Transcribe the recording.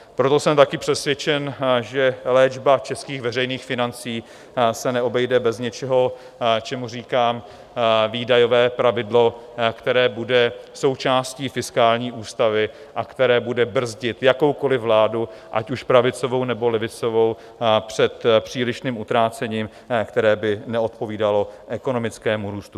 Proto jsem také přesvědčen, že léčba českých veřejných financí se neobejde bez něčeho, čemu říkám výdajové pravidlo, které bude součástí fiskální ústavy a které bude brzdit jakoukoliv vládu, ať už pravicovou, nebo levicovou, před přílišným utrácením, které by neodpovídalo ekonomickému růstu.